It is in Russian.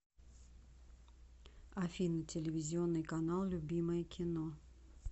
афина телевизионный канал любимое кино